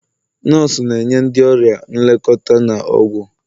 nọọsụ na-enye ndị ọrịa nlekọta na ọgwụ